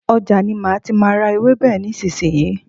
Ọjà ni má tí má a ra ewébè nísìsiyìí.